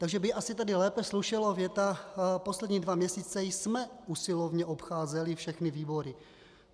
Takže by asi tady lépe slušela věta: Poslední dva měsíce jsme usilovně obcházeli všechny výbory...